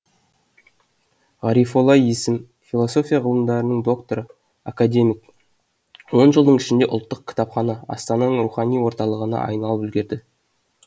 ғарифолла есім философия ғылымдарының докторы академик он жылдың ішінде ұлттық кітапхана астананың рухани орталығына айналып үлгерді